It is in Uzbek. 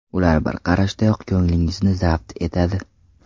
Ular bir qarashdayoq ko‘nglingizni zabt etadi.